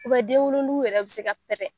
denwolonugu yɛrɛ bi se ka pɛrɛ.